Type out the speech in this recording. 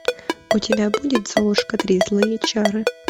у тебя будет золушка три злые чары